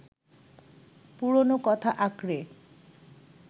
পুরনো কথা আঁকড়ে